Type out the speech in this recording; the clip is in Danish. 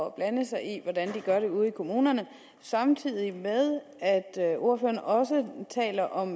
at blande sig i hvordan de gør det ude i kommunerne samtidig med at ordføreren også taler om